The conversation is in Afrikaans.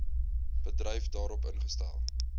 bedryf daarop ingestel